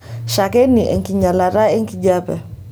Shakeni enkinyialata enkijiepe .